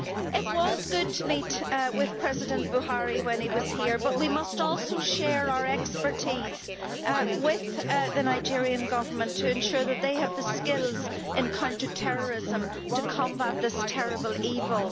It was good to meet with President Buhari when he was here, but we must also share our expertise with the Nigerian Government to ensure that it has the skills in counter-terrorism to combat this terrible evil.